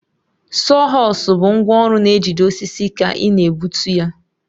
Sawhorsu bụ ngwá ọrụ na-ejide osisi ka ị na-egbutu ya.